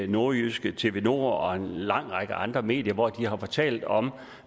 nordjyske tv2 nord og en lang række andre medier hvor de har fortalt om